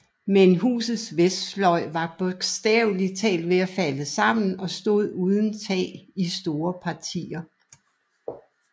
Men husets vestfløj var bogstavelig talt ved at falde sammen og stod uden tag i store partier